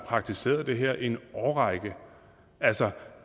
praktiseret det her i en årrække altså